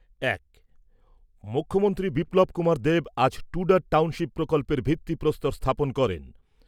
এক। মুখ্যমন্ত্রী বিপ্লব কুমার দেব আজ টুডার টাউনশিপ প্রকল্পের ভিত্তিপ্রস্তর স্থাপন করেন।